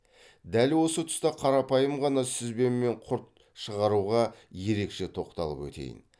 дәл осы тұста қарапайым ғана сүзбе мен құрт шығаруға ерекше тоқталып өтейін